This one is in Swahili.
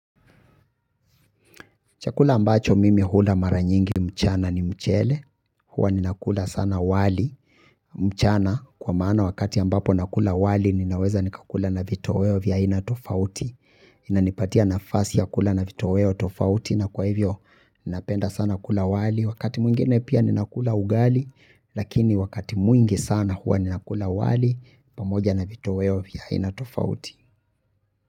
Chakula ambacho mimi hula mara nyingi mchana ni mchele, huwa ninakula sana wali, mchana kwa maana wakati ambapo nakula wali ninaweza nikakula na vitoweo vya aina tofauti, inanipatia nafasi ya kula na vitoweo tofauti na kwa hivyo napenda sana kula wali. Wakati mwingine pia ninakula ugali, lakini wakati mwingi sana huwa ninakula wali, pamoja na vitoweo vya aina tofauti.